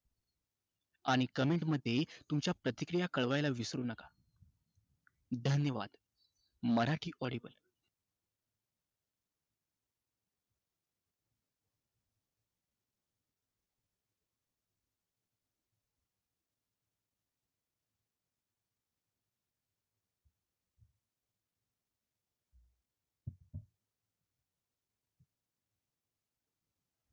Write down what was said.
आणि comment मध्ये तुमच्या प्रतिक्रिया कळवायला विसरू नका. धन्यवाद.